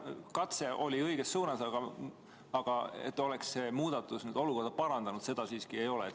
Katse tehti õiges suunas, aga seda, et see muudatus oleks olukorda parandanud, siiski ei ole.